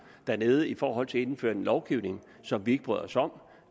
dernede i forhold til at indføre en lovgivning som vi ikke bryder os om